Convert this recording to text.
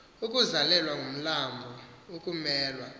ukuzalelwa ngumlarnbo ukumelwa